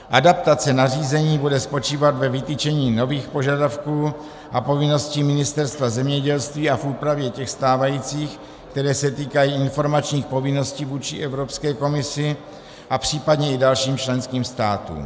Adaptace nařízení bude spočívat ve vytyčení nových požadavků a povinností Ministerstva zemědělství a v úpravě těch stávajících, které se týkají informačních povinností vůči Evropské komisi a případně i dalším členským státům.